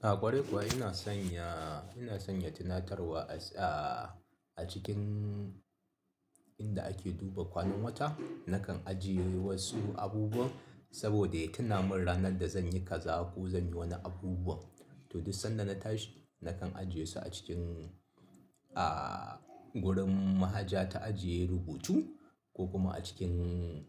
A ƙwari kuwa ina sanya, ina sanya tunatarwa a, a cikin inda ake duba kwanan wata. Nakan ajiye wasu abubuwa saboda ya tuna min ranar da zan yi kaza ko zan yi wani abubuwan. To duk sanda na tashi nakan ajiye su a cikin, ah, gurin mahaja ta ajiye rubutu ko kuma a cikin